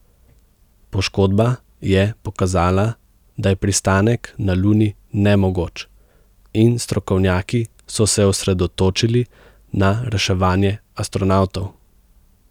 Poškodba je pokazala, da je pristanek na Luni nemogoč, in strokovnjaki so se osredotočili na reševanje astronavtov.